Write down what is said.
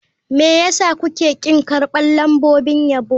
Me yasa kuke ƙin karɓar lambobin yabo.